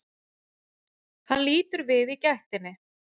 Hann lítur við í gættinni.